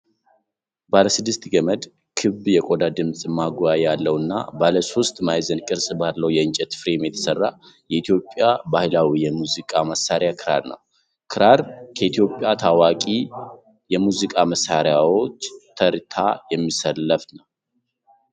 ባለ ስድስት ገመድ፣ ክብ የቆዳ ድምጽ ማጉያ ያለው እና ባለሶስት ማዕዘን ቅርጽ ባለው የእንጨት ፍሬም የተሰራ የኢትዮጵያ ባህላዊ የሙዚቃ መሣሪያ ክራር ነው። ክራር ከኢትዮጵያ ታዋቂ የሙዚቃ መሳሪያዎች ተርታ የሚሰለፍ መሳሪያ ነው።